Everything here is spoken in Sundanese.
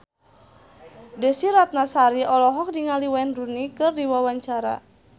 Desy Ratnasari olohok ningali Wayne Rooney keur diwawancara